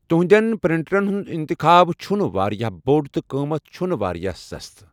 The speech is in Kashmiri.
تہنٛدٮ۪ن پرنٹرن ہُنٛد انتخاب چھُنہٕ واریاہ بوٚڑ تہٕ قۭمت چھُنہٕ واریاہ سستہٕ۔